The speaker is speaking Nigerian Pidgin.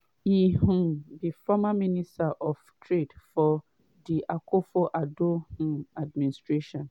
e um be former minister of trade for di akufo addo um administration.